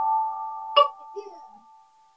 Mikið fjör!